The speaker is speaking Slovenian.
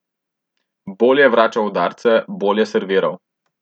Bolje je vračal udarce, bolje serviral ...